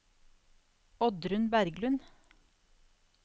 Oddrun Berglund